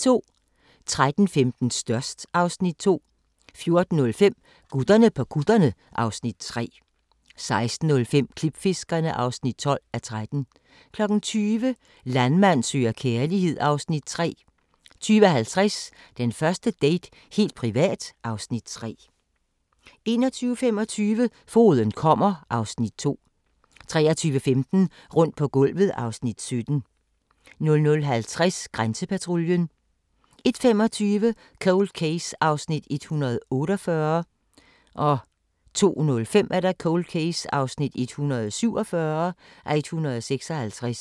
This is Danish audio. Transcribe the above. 13:15: Størst (Afs. 2) 14:05: Gutterne på kutterne (Afs. 3) 16:05: Klipfiskerne (12:13) 20:00: Landmand søger kærlighed (Afs. 3) 20:50: Den første date - helt privat (Afs. 3) 21:25: Fogeden kommer (Afs. 2) 23:15: Rundt på gulvet (Afs. 17) 00:50: Grænsepatruljen 01:25: Cold Case (148:156) 02:05: Cold Case (147:156)